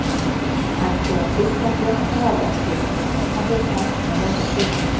Hægt er að stilla flesta vafra til að þeir taki ekki á móti kökum.